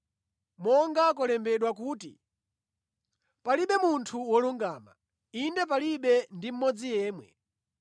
Monga kwalembedwa kuti, “Palibe munthu wolungama, inde palibe ndi mmodzi yemwe.